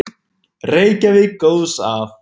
Reykjavík góðs af.